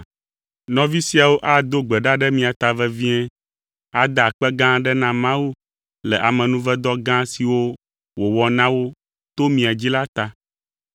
Nɔvi siawo ado gbe ɖa ɖe mia ta vevie, ada akpe gã aɖe na Mawu le amenuvedɔ gã siwo wòwɔ na wo to mia dzi la ta.